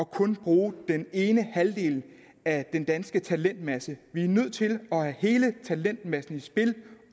kun at bruge den ene halvdel af den danske talentmasse vi er nødt til at have hele talentmassen i spil